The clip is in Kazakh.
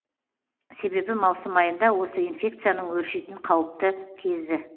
себебі маусым айында осы инфекцияның өршитін қауіпті кезі